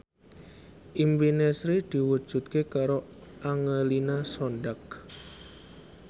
impine Sri diwujudke karo Angelina Sondakh